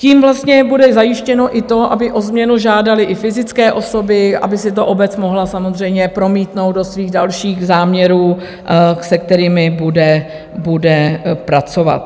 Tím vlastně bude zajištěno i to, aby o změnu žádaly i fyzické osoby, aby si to obec mohla samozřejmě promítnout do svých dalších záměrů, se kterými bude pracovat.